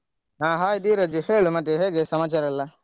ಹ hai ಧೀರಜ್ ಹೇಳು ಮತ್ತೆ ಹೇಗೆ ಸಮಾಚಾರೆಲ್ಲಾ?